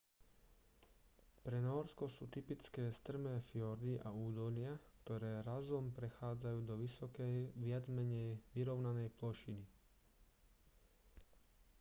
pre nórsko sú typické strmé fjordy a údolia ktoré razom prechádzajú do vysokej viac-menej vyrovnanej plošiny